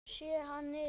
Sé hann yfir